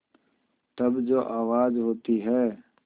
तब जो आवाज़ होती है